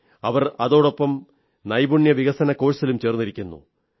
അവർ അതോടൊപ്പം നൈപുണ്യവികസന കോഴ്സിലും ചേർന്നിരിക്കുന്നു